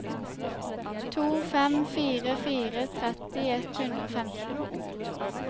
to fem fire fire tretti ett hundre og femten